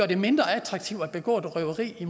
det mindre attraktivt at begå røveri i